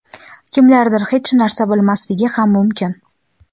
Kimlardir hech narsa bilmasligi ham mumkin.